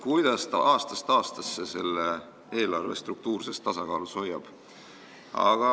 Küsitakse ka, kuidas ta aastast aastasse selle eelarve struktuurses tasakaalus hoiab?